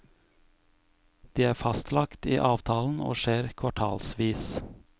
De er fastlagt i avtalen og skjer kvartalsvis.